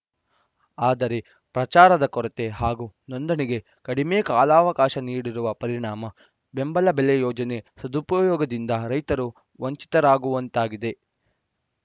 ಆದರೆ ಪ್ರಚಾರದ ಕೊರತೆ ಹಾಗೂ ನೋಂದಣಿಗೆ ಕಡಿಮೆ ಕಾಲಾವಕಾಶ ನೀಡಿರುವ ಪರಿಣಾಮ ಬೆಂಬಲ ಬೆಲೆ ಯೋಜನೆ ಸದುಪಯೋಗದಿಂದ ರೈತರು ವಂಚಿತರಾಗುವಂತಾಗಿದೆ